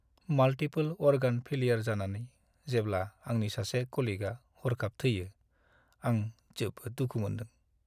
Multiple-organ failure जानानै जेब्ला आंनि सासे कलिगआ हरखाब थैयो, आं जोबोद दुखु मोन्दों।